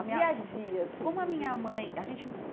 O dia a dia. Como a minha mãe a gente